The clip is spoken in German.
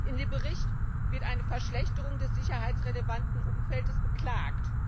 In dem Bericht wird eine Verschlechterung des sicherheitsrelevanten Umfeldes beklagt.